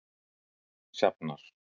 Sjafnar